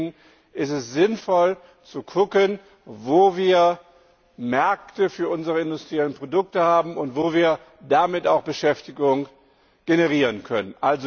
Deswegen ist es sinnvoll zu schauen, wo wir Märkte für unsere industriellen Produkte haben und wo wir damit auch Beschäftigung generieren können.